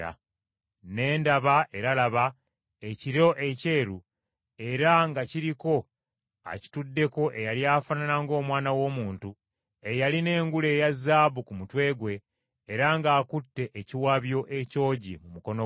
Ne ndaba, era laba, ekire ekyeru era nga kiriko akituddeko eyali afaanana ng’Omwana w’Omuntu eyalina engule eya zaabu ku mutwe gwe era ng’akutte ekiwabyo ekyogi mu mukono gwe.